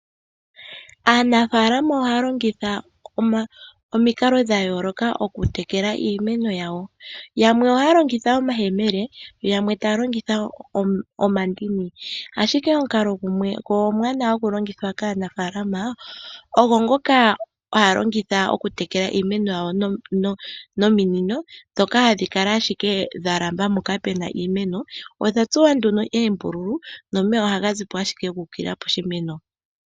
Aanafaalama ohaya longitha omikalo dha yooloka okutekela iimeno yawo. Yamwe ohaya longitha omayemele yamwe taya longitha omandini, ashike omukalo gumwe go omuwanawa hagu longithwa kaanafaalama ogo ngoka haya longitha ominino okutekela iimeno yawo, ndhoka hadhi kala ashike dha lamba mpoka pu na iimeno. Odha tsuwa nduno oombululu nomeya ohaga zi po ashike gu ukilila poshimeno.